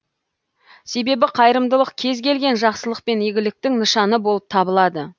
себебі қайырымдылық кез келген жақсылық пен игіліктің нышаны болып табылады